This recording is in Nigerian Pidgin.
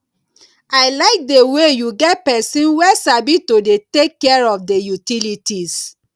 i like the way you get person wey sabi to dey take care of the utilities